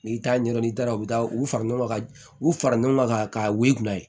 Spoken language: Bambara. N'i t'a ɲɛdɔn n'i taara u bɛ taa u fara ɲɔgɔn kan ka u fara ɲɔgɔn kan ka wili ka ye